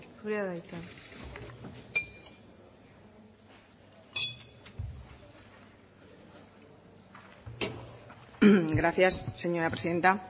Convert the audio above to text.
zurea da hitza gracias señora presidenta